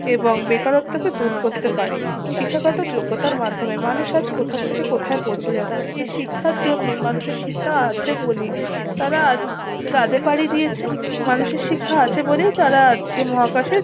এবং বেকারত্ব কে দূর করতে পারি শিক্ষাগত যোগ্যতার মাধ্যমে মানুষ আজ কোথা থেকে কোথা পৌঁছে যাচ্ছে এই শিক্ষার জন্যই মানুষের শিক্ষা আছে বলেই তারা আজ চাঁদে পাড়ি দিয়েছে মানুষের শিক্ষা আছে বলেই তারা আজকে মহাকাশে